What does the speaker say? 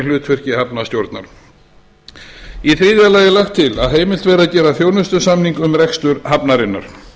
hlutverki hafnarstjórnar í þriðja lagi er lagt til að heimilt verði að gera þjónustusamning um rekstur hafnarinnar